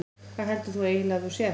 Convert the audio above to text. Hvað heldur þú eiginlega að þú sért?